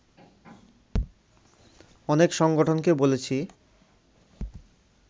অনেক সংগঠনকে বলেছি